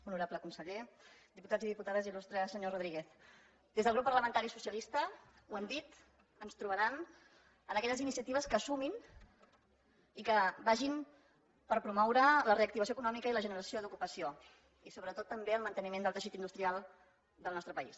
honorable conseller diputats i diputades il·lustre senyor rodríguez des del grup parlamentari socialista ho hem dit ens trobaran en aquelles iniciatives que sumin i que vagin per promoure la reactivació econòmica i la generació d’ocupació i sobretot també el manteniment del teixit industrial del nostre país